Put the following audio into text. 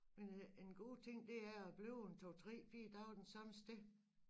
Men øh en god ting det er at blive en 2 3 4 dage den samme sted